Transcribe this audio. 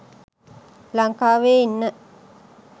ලංකාවේ ඉන්න